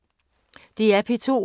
DR P2